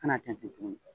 Kan'a tɛntɛn tugun